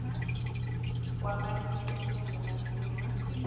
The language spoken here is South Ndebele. kwamalimi esewula afrika